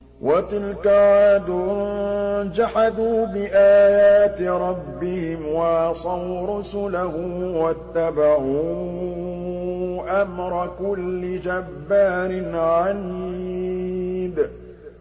وَتِلْكَ عَادٌ ۖ جَحَدُوا بِآيَاتِ رَبِّهِمْ وَعَصَوْا رُسُلَهُ وَاتَّبَعُوا أَمْرَ كُلِّ جَبَّارٍ عَنِيدٍ